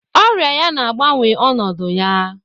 Ọrịa ya na-agbanwe ọnọdụ ya